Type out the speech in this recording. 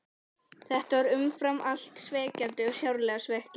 Þetta var umfram allt svekkjandi, sárlega svekkjandi.